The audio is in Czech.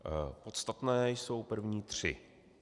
Podstatné jsou první tři.